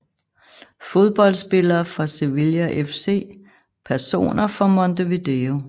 Fodboldspillere fra Sevilla FC Personer fra Montevideo